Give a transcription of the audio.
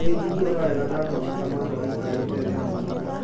nĩnjigũaga wega ndamũona Kamaru aikarĩte thĩ hamwe na Mũsaimo